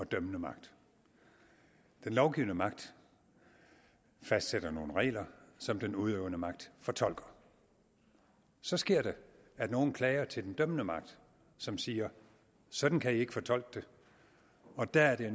dømmende magt den lovgivende magt fastsætter nogle regler som den udøvende magt fortolker så sker det at nogen klager til den dømmende magt som siger sådan kan i ikke fortolke det og da er det